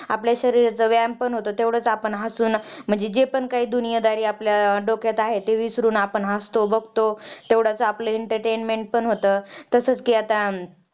आपल्या शरीराचा व्यायाम पण होतो तेवढंच आपण हसुन जे पण काही दुनियादारी आपल्या डोक्यात आहे ते विसरून आपण हसतो बघतो तेवढंच आपलं entertainment पण होतं तसाच कि आता